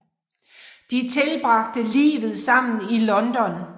De tilbragte livet sammen i London